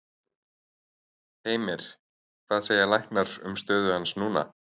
Heimir: Hvað segja læknar um stöðu hans núna?